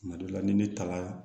Tuma dɔ la ni ne taara